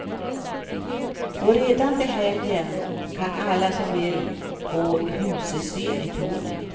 Och redan till helgen kan alla som vill gå husesyn i tornet.